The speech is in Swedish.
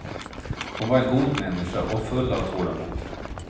Hon var en god människa och full av tålamod.